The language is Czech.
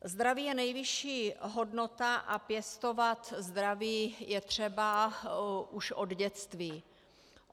Zdraví je nejvyšší hodnota a pěstovat zdraví je třeba už od dětství.